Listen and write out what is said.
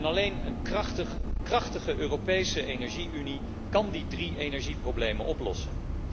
Alleen een krachtige Europese energie unie kan die drie energieproblemen oplossen.